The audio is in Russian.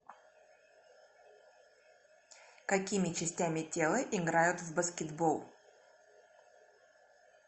какими частями тела играют в баскетбол